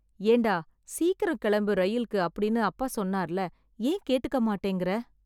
ஏன்டா சீக்கிரம் கிளம்பு இரயில்க்கு அப்படினு அப்பா சொன்னார்ல ஏன் கேட்டுக்க மாட்டேங்கற‌